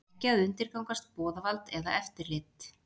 Ekki að undirgangast boðvald eða eftirlit